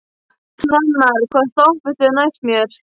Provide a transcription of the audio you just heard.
Hrannar, hvaða stoppistöð er næst mér?